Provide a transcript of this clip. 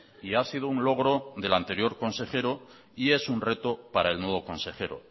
y ha sido un logro del anterior consejero y es un reto para el nuevo consejero